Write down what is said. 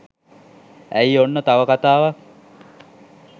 ඇයි ඔන්න තව කතාවක්